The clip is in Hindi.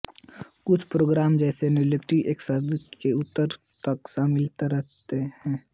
कुछ प्रोग्राम जैसे लेक्सपर्ट एकशब्द के उत्तर तक सीमित रहते हैं